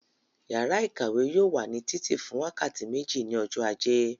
Yàrá ìkàwé yóò wà ní títì fún wákàtí méjì ní ọjọ́ ajé.